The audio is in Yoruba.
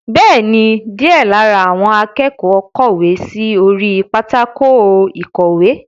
Bẹ́ẹ̀ni, díẹ̀ lára àwọn akẹ́kọ̀ọ́ kọ̀wé sí orí pátákó ìkọ̀wé.